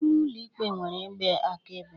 ime ụlọ ikpe nwere igbe akaebe..